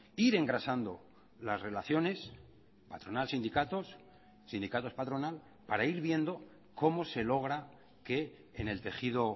ir engrasando las relaciones patronal sindicatos sindicatos patronal para ir viendo cómo se logra que en el tejido